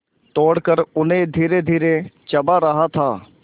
तोड़कर उन्हें धीरेधीरे चबा रहा था